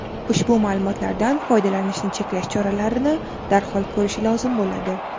ushbu ma’lumotlardan foydalanishni cheklash choralarini darhol ko‘rishi lozim bo‘ladi.